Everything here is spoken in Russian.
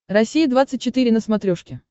россия двадцать четыре на смотрешке